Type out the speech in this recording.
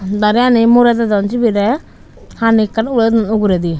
dari gani murey dedon siberey hani ekkan urey don uguredi.